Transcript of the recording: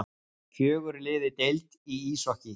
Fjögur lið í deild í íshokkí